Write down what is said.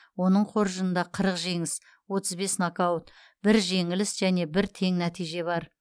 оның қоржынында қырық жеңіс отыз бес нокаут бір жеңіліс және бір тең нәтиже бар